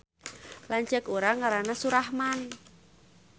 Lanceuk urang ngaranna Surahman